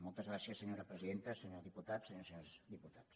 moltes gràcies senyora presidenta senyor diputat senyores i senyors diputats